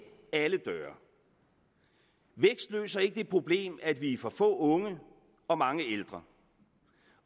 alle døre vækst løser ikke det problem at vi er for få unge og mange ældre